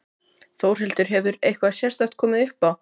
Þórhildur: Hefur eitthvað sérstakt komið upp á?